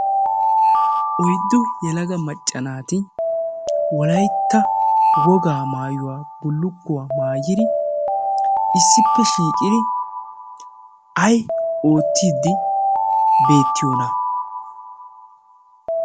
oyddu yelaga macca naati wolaitta wogaa maayuwaa bullugguwaa maayiri issippe shiicidi ai oottiiddi beettiyoona?